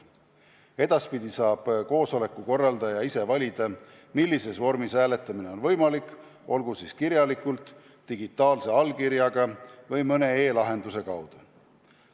Edaspidi saab koosoleku korraldaja ise valida, millises vormis hääletamine on võimalik, olgu siis kirjalikult, digitaalse allkirjaga või mõne e-lahenduse kaudu.